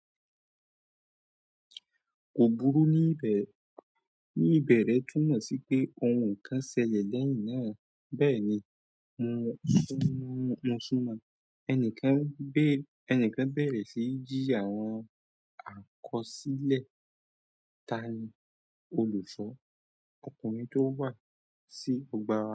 Kò burú ní ìbẹ̀rẹ̀ túmọ̀ sí pé ohun kan ṣẹlẹ̀ lẹ́yìn náà. Bẹ́ẹ̀ ni, mo ṣúnmọ́ ẹnìkan bẹ̀rẹ̀ sí í jí àwọn àkọsílẹ̀. Ta ni olùṣọ́? Ọkùnrin tó wà sí ọgbà.